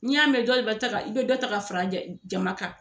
Ni y'a mɛn dɔle bi ta ka i bɛ dɔ ta ka fara jama kan